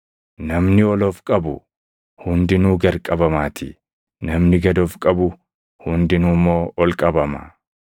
Namni ol of qabu hundinuu gad qabamaatii; namni gad of qabu hundinuu immoo ol qabama.”